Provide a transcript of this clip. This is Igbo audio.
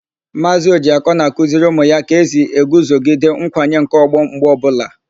Maazị Ọjịakọ na-akuziri ụmụ ya ka esi eguzogide nkwanye nke ọgbọ mgbe ọbụla.